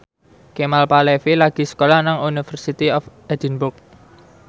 Kemal Palevi lagi sekolah nang University of Edinburgh